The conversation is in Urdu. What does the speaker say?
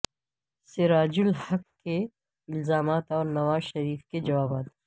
سراج الحق کے الزامات اور نواز شریف کے جوابات